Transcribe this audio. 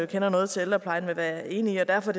kender noget til ældreplejen vil være enig i og derfor